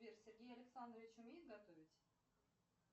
сбер сергей александрович умеет готовить